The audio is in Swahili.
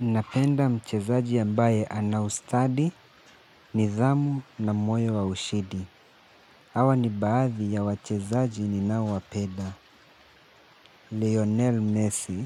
Napenda mchezaji ambaye ana ustadi nidhamu na moyo wa ushindi. Hawa ni baadhi ya wachezaji ninaowapenda. Lionel Messi,